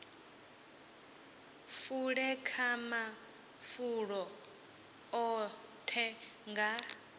fule kha mafulo oṱhe nga